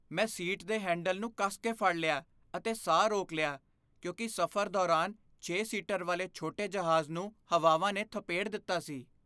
ਮੈਂ ਸੀਟ ਦੇ ਹੈਂਡਲ ਨੂੰ ਕੱਸ ਕੇ ਫੜ ਲਿਆ ਅਤੇ ਸਾਹ ਰੋਕ ਲਿਆ ਕਿਉਂਕਿ ਸਫ਼ਰ ਦੌਰਾਨ ਛੇ ਸੀਟਰ ਵਾਲੇ ਛੋਟੇ ਜਹਾਜ਼ ਨੂੰ ਹਵਾਵਾਂ ਨੇ ਥਪੇੜ ਦਿੱਤਾ ਸੀ